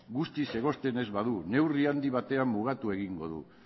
guztiz egosten ez badu neurri handi batean mugatu egingo du